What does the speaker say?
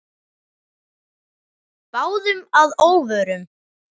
Báðum að óvörum.